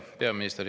Hea peaminister!